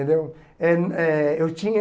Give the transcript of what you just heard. Entendeu? Eh eh eu tinha